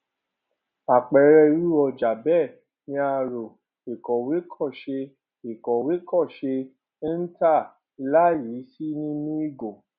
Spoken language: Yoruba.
àpẹẹrẹ irú ọjà bẹẹ ni aró ìkòwé kò ṣé ìkòwé kò ṣé ń tà láìyí sí nínú ìgò